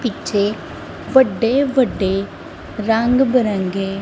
ਪਿੱਛੋਂ ਵੱਡੇ ਵੱਡੇ ਰੰਗ ਬਰੰਗੇ।